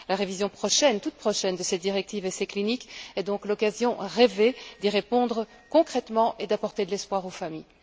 La révision toute prochaine de cette directive essais cliniques est donc l'occasion rêvée d'y répondre concrètement et d'apporter de l'espoir aux familles.